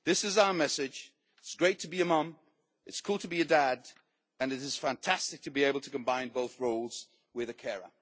This is our message it is great to be a mum, it is cool to be a dad, and it is fantastic to be able to combine both roles with a carer.